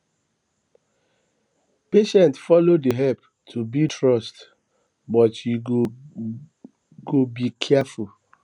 patient follow dey help um to build trust um but you go be careful